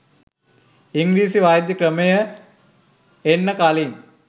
ඉංග්‍රීසි වෛද්‍ය ක්‍රමය එන්න කලින්